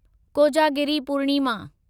Kojagiri Purnima